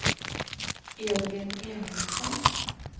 Edvin Emilsson